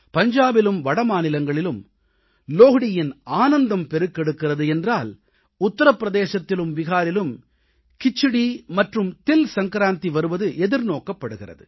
பஞ்சாபிலும் வடமாநிலங்களிலும் லோஹ்ரீயின் ஆனந்தம் பெருக்கெடுக்கிறது என்றால் உத்திரப் பிரதேசத்திலும் பீகாரிலும் கிச்சடீ மற்றும் தில் சங்க்ராந்தி வருவது எதிர்நோக்கப்படுகிறது